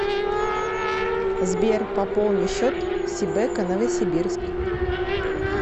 сбер пополни счет сибэко новосибирск